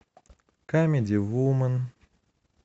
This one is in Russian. камеди вумен